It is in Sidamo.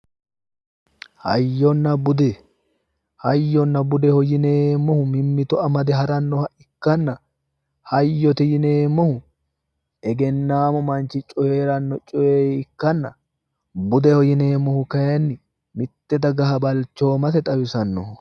hayyonna bude hayyonna bude yineemmohu mitteenni amadame harannoha ikkanna hayyote yineemmohu egennaammu manchi coyeeranno coye ikkanna budeho yineemmohu kayiinni mitte dagaha balchoomase xawisannoho.